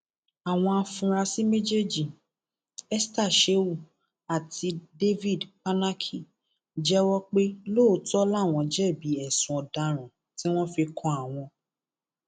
àwọn afurasí méjèèjì esther shehu àti david kpanaki jẹwọ pé lóòótọ làwọn jẹbi ẹsùn ọdaràn tí wọn fi kan àwọn